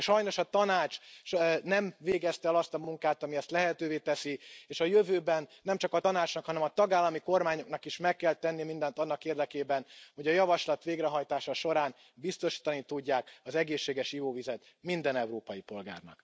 Sajnos a Tanács nem végezte el azt a munkát, ami ezt lehetővé teszi, és a jövőben nemcsak a Tanácsnak, hanem a tagállami kormányoknak is meg kell tenniük mindent annak érdekében, hogy a javaslat végrehajtása során biztosítani tudják az egészséges ivóvizet minden európai polgárnak.